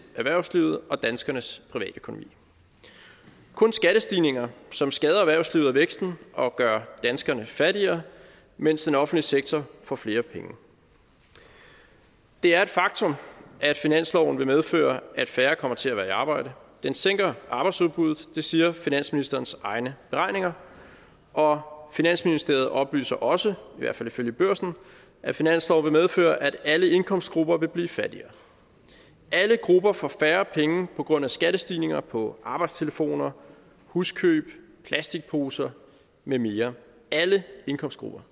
erhvervslivet og danskernes privatøkonomi kun skattestigninger som skader erhvervslivet og væksten og gør danskerne fattigere mens den offentlige sektor får flere penge det er et faktum at finansloven vil medføre at færre kommer til at være i arbejde den sænker arbejdsudbuddet det siger finansministerens egne beregninger og finansministeriet oplyser også i hvert fald ifølge børsen at finansloven vil medføre at alle indkomstgrupper vil blive fattigere alle grupper får færre penge på grund af skattestigninger på arbejdstelefoner huskøb plasticposer med mere alle indkomstgrupper